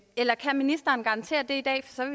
eller kan ministeren garantere det